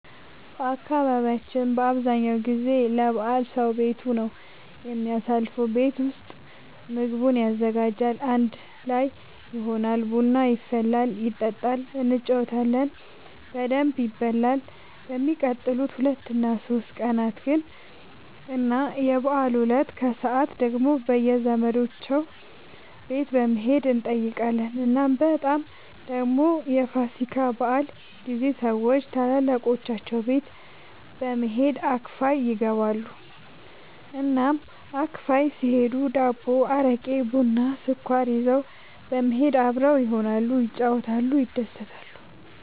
በአካባቢያችን አብዛኛው ጊዜ ለበዓል ሰዉ ቤቱ ነው የሚያሳልፈው። ቤት ውስጥ ምግቡን ያዘጋጃል፣ አንድ ላይ ይሆናል፣ ቡና ይፈላል ይጠጣል እንጫወታለን በደንብ ይበላል በሚቀጥሉት ሁለት እና ሶስት ቀናት ግን እና የበዓሉ እለት ከሰዓት ደግሞ በየዘመዶቻቸው ቤት በመሄድ እንጠያየቃለን። እናም በጣም ደግሞ የፋሲካ በዓል ጊዜ ሰዎች ታላላቆቻቸው ቤት በመሄድ አክፋይ ይገባሉ። እናም አክፋይ ሲሄዱ ዳቦ፣ አረቄ፣ ቡና፣ ስኳር ይዘው በመሄድ አብረው ይሆናሉ፣ ይጫወታሉ፣ ይደሰታሉ።